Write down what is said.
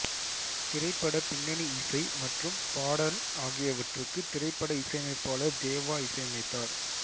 திரைப்பட பின்னணி இசை மற்றும் பாடல் ஆகியவற்றுக்கு திரைப்பட இசையமைப்பாளர் தேவா இசையமைத்தார்